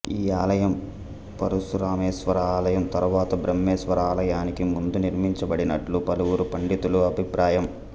ఈ ఆలయం పరశురామేశ్వర ఆలయం తరువాత బ్రహ్మేశ్వర ఆలయానికి ముందు నిర్మించబడినట్లు పలువురు పండితుల అభిప్రాయం